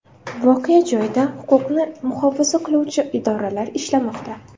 Voqea joyida huquqni muhofaza qiluvchi idoralar ishlamoqda.